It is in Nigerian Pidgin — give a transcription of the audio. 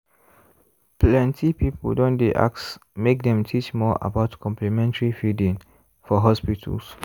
plenty people don dey ask make dem teach more about complementary feeding for hospitals.